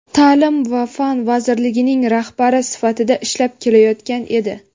ta’lim va fan vazirligining rahbari sifatida ishlab kelayotgan edi.